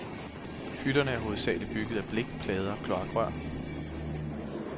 Hytterne er hovedsagelig bygget af blik, plader og kloakrør.